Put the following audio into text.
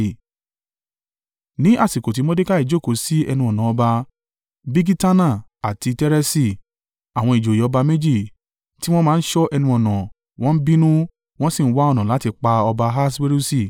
Ní àsìkò tí Mordekai jókòó sí ẹnu-ọ̀nà ọba, Bigitana àti Tereṣi, àwọn ìjòyè ọba méjì tí wọ́n máa ń ṣọ́ ẹnu-ọ̀nà, wọ́n bínú, wọ́n sì ń wá ọ̀nà láti pa ọba Ahaswerusi.